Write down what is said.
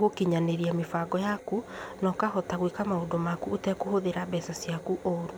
gũkinyanĩria mĩbango yaku, nokahota gwĩka maũndũ maku ũtekũhũthĩra mbeca ciaku ũru.